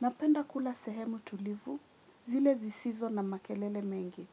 Napenda kula sehemu tulivu zile zisizo na makelele mengi.